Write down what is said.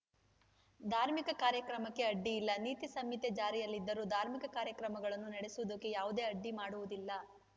ಧಾರ್ಮಿಕ ಕಾರ್ಯಕ್ರಮಕ್ಕೆ ಅಡ್ಡಿಯಿಲ್ಲ ನೀತಿ ಸಂಹಿತೆ ಜಾರಿಯಲ್ಲಿದ್ದರೂ ಧಾರ್ಮಿಕ ಕಾರ್ಯಕ್ರಮಗಳನ್ನು ನಡೆಸುವುದಕ್ಕೆ ಯಾವುದೇ ಅಡ್ಡಿ ಮಾಡುವುದಿಲ್ಲ